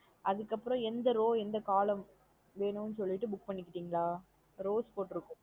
அதுக்கு அப்புறம் எந்த row எந்த column வேணுன்னு சொல்லிட்ட book பண்ணி கிட்டிங்களா? Rows போட்டு இருக்கும்.